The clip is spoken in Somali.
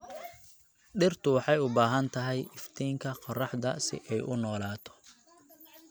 Dhirtu waxay u baahan tahay iftiinka qorraxda si ay u noolaato.